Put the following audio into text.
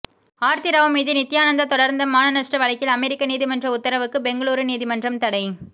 ஆர்த்தி ராவ் மீது நித்தியானந்தா தொடர்ந்த மானநஷ்ட வழக்கில் அமெரிக்க நீதிமன்ற உத்தரவுக்கு பெங்களூரு நீதிமன்றம் தடை